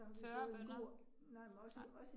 Tørre bønner, nej